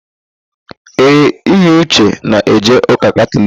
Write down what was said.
Ee, Eyiuche na-eje ụ́kà Katọliki.